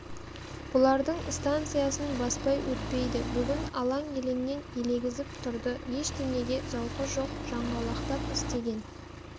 бұлардың станциясын баспай өтпейді бүгін алаң-елеңнен елегізіп тұрды ештеңеге зауқы жоқ жаңғалақтап істеген